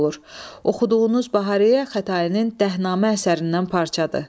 Oxuduğunuz Bahariyə Xətainin Dəhnamə əsərindən parçadır.